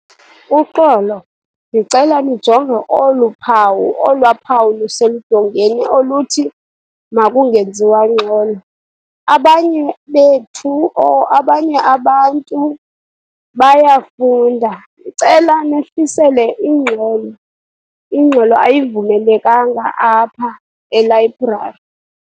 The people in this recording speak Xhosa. Uxolo, ndicela nijonge olu phawu, olwaa phawu luseludongeni oluthi makungenziwa ngxolo. Abanye bethu or abanye abantu bayafunda. Ndicela nehlisele ingxolo, ingxolo ayivumelekanga apha elayibrari.